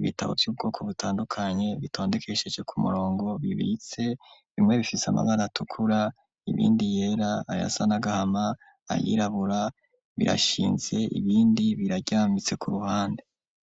ibitabo vy'ubwoko butandukanye, bitondekesheje ku murongo bibitse bimwe bifise amabara atukura ibindi yera ayasa nagahama ayirabura, birashinze ibindi biraryambitse ku ruhande.